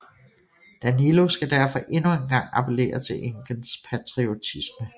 Danilo skal derfor endnu engang appellere til enkens patriotisme